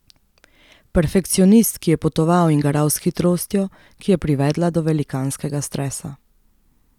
Perfekcionist, ki je potoval in garal s hitrostjo, ki je privedla do velikanskega stresa.